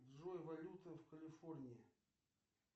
джой валюта в калифорнии